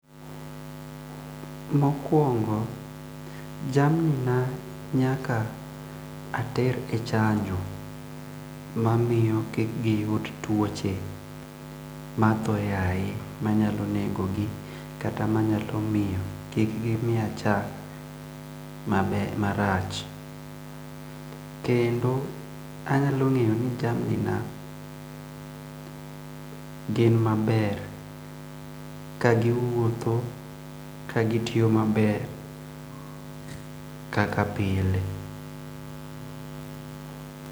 Mokuong'o jamni na nyaka ater e chanjo mamiyo kik giyud tuoche ma athoyaye manyalo negogi kata manyalo miyo kik gi miya chak mabe marach kendo anyalo ngeyo ni jamni na gin maber kagiwuotho ka gitiyo maber kaka pile.